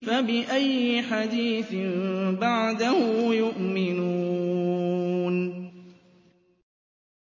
فَبِأَيِّ حَدِيثٍ بَعْدَهُ يُؤْمِنُونَ